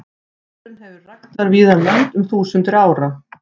Hesturinn hefur verið ræktaður víða um lönd um þúsundir ára.